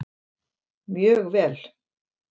Mjög vel!